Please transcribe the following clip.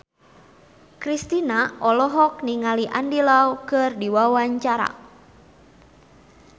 Kristina olohok ningali Andy Lau keur diwawancara